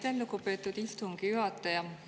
Aitäh, lugupeetud istungi juhataja!